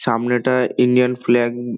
সামনেটায় Indian flag um.